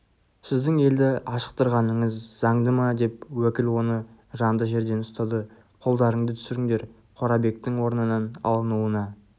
сіздің елді ашықтырғаныңыз заңды ма деп уәкіл оны жанды жерден ұстады қолдарыңды түсіріңдер қорабектің орнынан алынуына